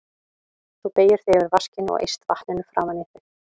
Þú beygir þig yfir vaskinn og eyst vatninu framan í þig.